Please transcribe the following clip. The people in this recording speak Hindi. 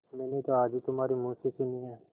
मैंने तो आज ही तुम्हारे मुँह से सुनी है